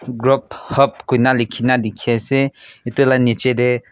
grub hub koina lekhi na dekhe ase etu laga niche te--